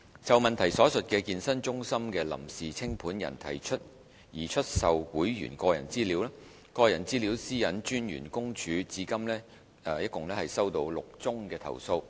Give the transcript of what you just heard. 就質詢所述的健身中心的臨時清盤人提出擬出售會員個人資料，個人資料私隱專員公署至今共收到6宗投訴。